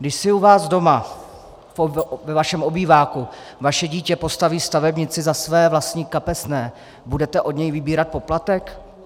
Když si u vás doma ve vašem obýváku vaše dítě postaví stavebnici za své vlastní kapesné, budete od něj vybírat poplatek?